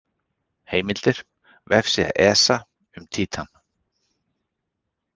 Heimildir: Vefsíða ESA um Títan.